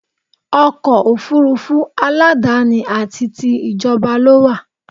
Ọkọ̀ òfurufú aládáni àti ti ìjọba ló wà